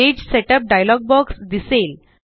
page setup dialog box दिसेल